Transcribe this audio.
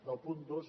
del punt dos